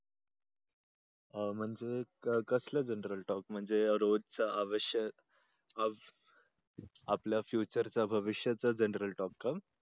अह म्हणजे कसले general talk म्हणजे रोजच आवश्यक आव आपल future च भविष्यच general talk का?